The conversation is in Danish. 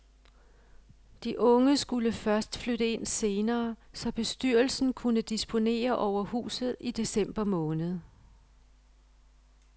De unge skulle først flytte ind senere, så bestyrelsen kunne disponere over huset i december måned.